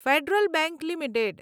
federal bank limited